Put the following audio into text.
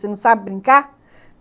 Você não sabe brincar?